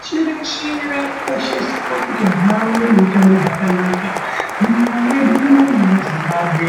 Pashi reshe raakukoshesa kuti vantu vave neutano hwakanaka. Munyika mwedu munomu meZimbabwe,